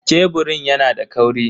Keburin yana da kauri?